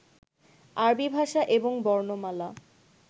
আরবী ভাষা এবং বর্ণমালা